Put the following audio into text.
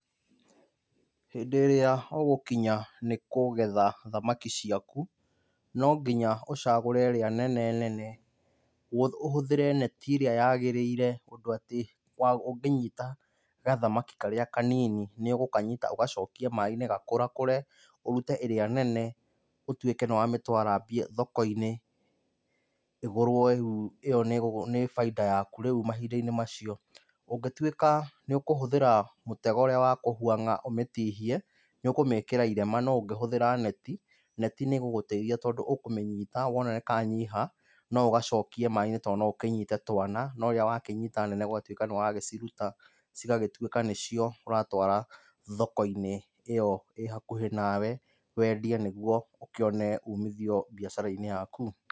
Hĩndĩ ĩrĩa ũgũkinya nĩkũgetha thamaki ciaku, no nginya ũcagũre ĩrĩa nene nene, ũhũthĩre neti ĩrĩa yagĩrĩire ũndũ atĩ ũngĩnyita gathamaki karĩa kanini nĩũgũkanyita ũgacokie maaĩ-nĩ gakũrakũre ũrute ĩrĩa nene ũtũike nĩwamĩtwara thoko-inĩ ĩgũrwo ĩ yo nĩ bainda yaku mahinda-inĩ macio. Ũngĩtuĩka nĩ ũkũhũthĩra mũtego ũrĩa wa kũhũang'a ũmĩtihie, nĩ ũkũmĩkĩra irema no ũngĩhũthĩra neti, neti nĩ ĩgũgũteithia tondũ ũkũmĩnyita wona nĩ kanyiha no ũgacokie maaĩ-inĩ tondũ no ũkĩnyite twana no ĩria wakĩnyita nene ũgatuĩka nĩ wagĩciruta cigagĩtuĩka nĩcio ũratwara thoko-inĩ ĩyo ĩ hakuhi nawe wendie nĩguo ũkĩone ũmithio biacara-inĩ yaku.